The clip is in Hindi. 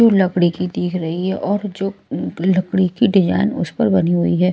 लकड़ी की देख रही है और जो लकड़ी की डिजाइन उस पर बनी हुईं हैं।